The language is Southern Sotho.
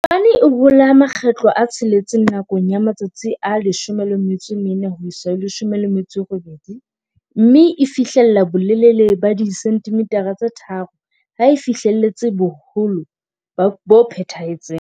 Popane e hola makgetlo a tsheletseng nakong ya matsatsi a 14 18, mme e fihlella bolelele ba 3 cm ha e fihlelletse boholo bo phethahetseng.